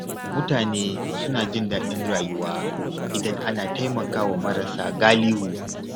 Mutane suna jin daɗin rayuwa idan ana taimaka wa marasa galihu.